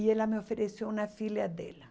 E ela me ofereceu uma filha dela.